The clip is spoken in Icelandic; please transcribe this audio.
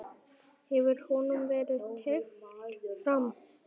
Hefur honum verið teflt fram?